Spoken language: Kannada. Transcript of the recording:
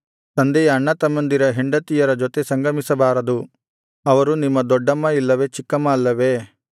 ತಂದೆಯ ಅಣ್ಣತಮ್ಮಂದಿರ ಹೆಂಡತಿಯರ ಜೊತೆ ಸಂಗಮಿಸಬಾರದು ಅವರು ನಿಮ್ಮ ದೊಡ್ಡಮ್ಮ ಇಲ್ಲವೇ ಚಿಕ್ಕಮ್ಮ ಅಲ್ಲವೇ